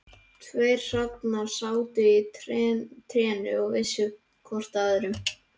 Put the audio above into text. Tveir hrafnar sátu í trénu og vissu hvor að öðrum.